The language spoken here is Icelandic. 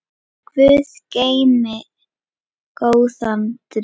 Guð geymi góðan dreng.